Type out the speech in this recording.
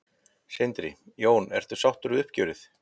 Sindri: Jón, ertu sáttu við uppgjörið?